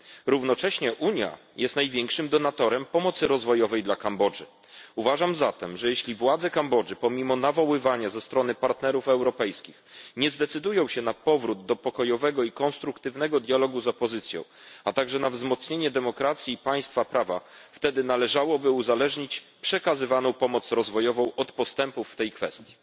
Równocześnie Unia jest największym donatorem pomocy rozwojowej dla Kambodży. Uważam zatem, że jeśli władze Kambodży, pomimo nawoływania ze strony partnerów europejskich, nie zdecydują się na powrót do pokojowego i konstruktywnego dialogu z opozycją, a także na wzmocnienie demokracji i państwa prawa, wtedy należałoby uzależnić przekazywaną pomoc rozwojową od postępów w tej kwestii.